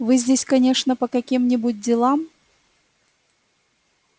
вы здесь конечно по каким-нибудь делам